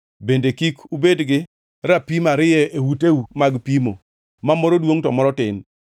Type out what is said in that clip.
Bende kik ubed gi rapim ariyo e uteu mag pimo, ma moro duongʼ to moro tin.